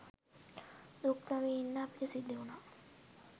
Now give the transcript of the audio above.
දුක්නොවී ඉන්න අපිට සිදු‍වුණා.